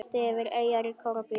Listi yfir eyjar í Króatíu